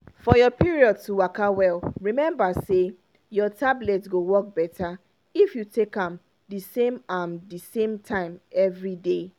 for your period to waka well remember say your tablet go work better if you take am the same am the same time everyday.